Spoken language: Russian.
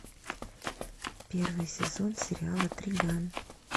первый сезон сериала триган